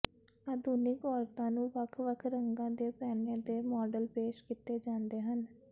ਆਧੁਨਿਕ ਔਰਤਾਂ ਨੂੰ ਵੱਖ ਵੱਖ ਰੰਗਾਂ ਦੇ ਪਹਿਨੇ ਦੇ ਮਾਡਲ ਪੇਸ਼ ਕੀਤੇ ਜਾਂਦੇ ਹਨ